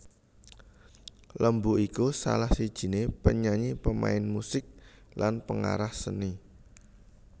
Lembu iku salah sijiné penyanyi pemain musik lan pengarah seni